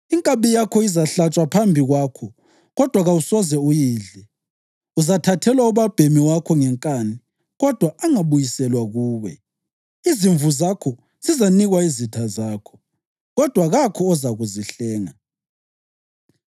Inkabi yakho izahlatshwa phambi kwakho, kodwa kawusoze uyidle. Uzathathelwa ubabhemi wakho ngenkani kodwa angabuyiselwa kuwe. Izimvu zakho zizanikwa izitha zakho, kodwa kakho ozakuzihlenga.